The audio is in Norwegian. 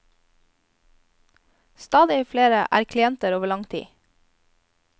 Stadig flere er klienter over lang tid.